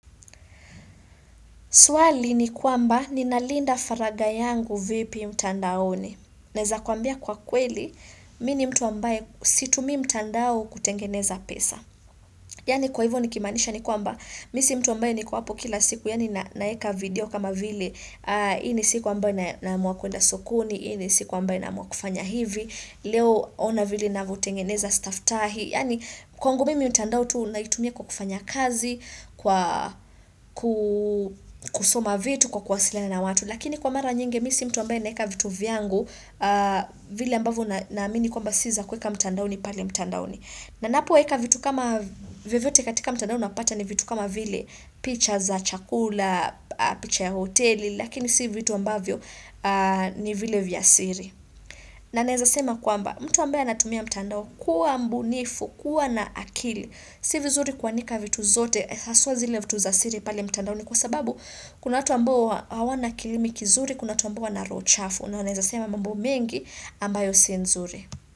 Swali ni kwamba, ninalinda faragha yangu vipi mtandaoni. Naeza kuambia kwa kweli, mi ni mtu ambaye situmii mtandao kutengeneza pesa. Yaani kwa hivyo nikimaanisha ni kwamba, mi si mtu ambaye niko hapo kila siku, yaani naeka video kama vile, hii ni siku ambayo naamua kuenda sokoni, hii ni siku ambayo naamua kufanya hivi, leo ona vile navyotengeneza staftahi. Yaani kwangu mimi mtandao tu naitumia kwa kufanya kazi, kwa kusoma vitu, kwa kuwasiliana na watu lakini kwa mara nyingi mi si mtu ambaye naeka vitu vyangu vile ambavyo naamini kwamba si za kuweka mtandaoni pale mtandaoni. Na napoeka vitu kama vyovyote katika mtandao unapata ni vitu kama vile picha za chakula, picha ya hoteli, lakini si vitu ambavyo ni vile vya siri. Na naweza sema kwamba, mtu ambaye anatumia mtandao kuwa mbunifu, kuwa na akili. Si vizuri kuanika vitu zote, haswa zile vitu za siri pale mtandaoni kwa sababu kuna watu ambao hawana kilimi kizuri, kuna watu ambao wana roho chafu. Na wanaweza sema mambo mengi ambayo si nzuri.